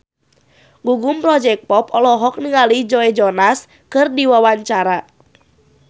Gugum Project Pop olohok ningali Joe Jonas keur diwawancara